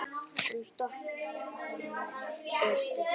En stoppið er stutt.